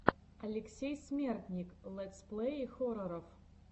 алексей смертник летсплеи хорроров